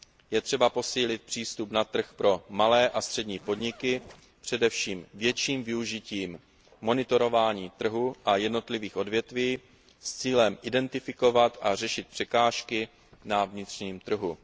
Je třeba posílit přístup na trh pro malé a střední podniky především větším využitím monitorování trhu a jednotlivých odvětví s cílem identifikovat a řešit překážky na vnitřním trhu.